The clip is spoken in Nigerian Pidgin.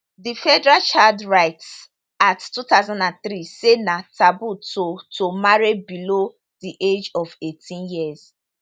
di federal child rights act 2003 say na taboo to to marry below di age of 18 years